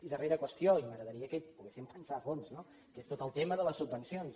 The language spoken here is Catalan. i darrera qüestió i m’agradaria que hi poguéssim pensar a fons no que és tot el tema de les subvencions